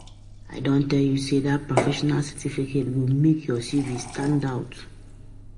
I don tell you sey dat professional certificate go make your CV stand out.